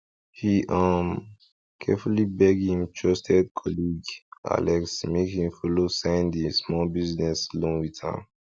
he um carefully beg him trusted colleague alex make he follow sign the small business loan with am